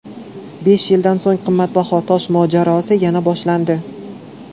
Besh yildan so‘ng qimmatbaho tosh mojarosi yana boshlandi.